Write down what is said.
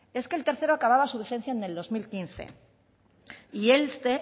es que el tercero acababa su vigencia en el dos mil quince y este